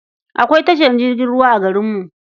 Akwai tashar jirgin ruwa a garinmu.